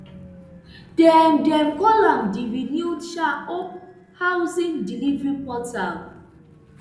dem dem call am di renewed um hope housing delivery portal